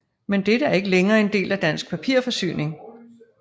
Men dette er ikke længere en del af Dansk Papirforsyning